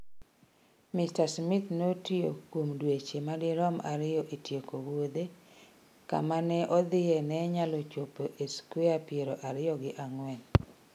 Mr Smart notiyo kuom dweche madirom ariyo e tieko wuodhe, kama ne odhie ne nyalo chopo e skwea piero ariyo gi ang’wen.